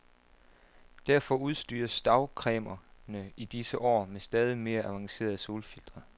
Derfor udstyres dagcremerne i disse år med stadigt mere avancerede solfiltre.